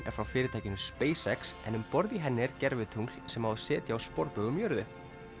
er frá fyrirtækinu en um borð í henni er gervitungl sem á að setja á sporbaug um jörðu